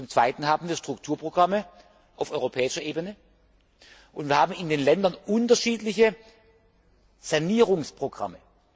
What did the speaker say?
Zum Zweiten haben wir Strukturprogramme auf europäischer Ebene, und wir haben in den Ländern unterschiedliche Sanierungsprogramme.